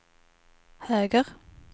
höger